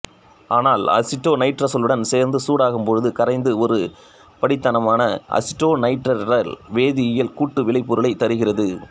ஆனால் அசிட்டோநைட்ரைலுடன் சேர்த்து சூடாக்கும் போது கரைந்து ஒருபடித்தான அசிட்டோநைட்ரைல் வேதியியல் கூட்டு விளைபொருளைத் தருகிறது